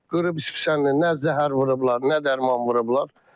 Qırıb spesiyalni nə zəhər vurublar, nə dərman vurublar.